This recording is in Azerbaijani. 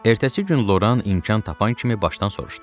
Ertəsi gün Loran imkan tapan kimi Başdan soruşdu: